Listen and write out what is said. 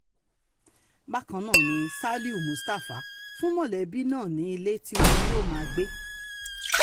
bákan ná ni um saliu mustapha fún mọ̀lẹ́bí náà ní ilé tí wọn yóò máa gbé um